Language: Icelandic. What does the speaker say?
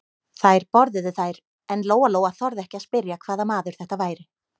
Þær borðuðu þær en Lóa-Lóa þorði ekki að spyrja hvaða maður þetta væri.